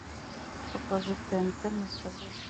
покажи тнт на тв